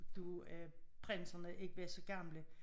Da øh prinserne ikke var så gamle